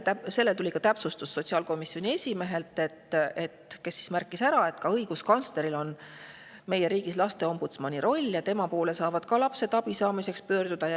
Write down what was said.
Tuli ka täpsustus sotsiaalkomisjoni esimehelt, kes märkis ära, et õiguskantsleril on meie riigis laste ombudsmani roll ja tema poole saavad lapsed abi saamiseks pöörduda.